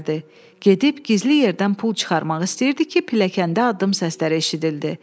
Gedib gizli yerdən pul çıxarmaq istəyirdi ki, pilləkəndə addım səsləri eşidildi.